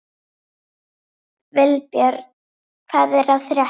Vilbjörn, hvað er að frétta?